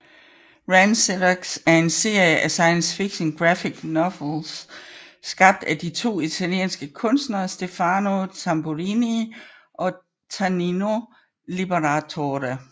RanXerox er en serie af science fiction graphic novels skabt af de to italienske kunstnere Stefano Tamburini og Tanino Liberatore